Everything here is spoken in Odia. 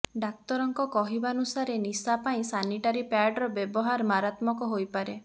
ଡାକ୍ତରଙ୍କ କହିବାନୁସାରେ ନିଶା ପାଇଁ ସାନିଟାରୀ ପ୍ୟାଡର ବ୍ୟବହାର ମାରାତ୍ମକ ହୋଇପାରେ